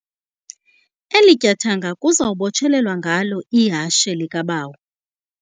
Eli tyathanga kuza kubotshelelwa ngalo ihashe likhabayo.